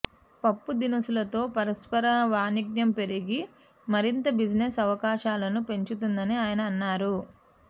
పప్పుదినుసులతో పరస్పర వాణిజ్యం పెరిగి మరింత బిజినెస్ అవకాశాలను పెంచుతుందని ఆయన అన్నారు